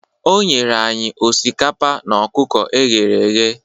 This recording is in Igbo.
O nyere anyị osikapa na ọkụkọ e ghere eghe